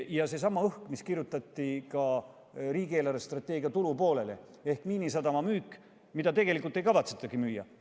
Ja seesama õhk, mis kirjutati riigi eelarvestrateegia tulupoolele ehk Miinisadama müük, kuigi seda tegelikult ei kavatsetagi müüa.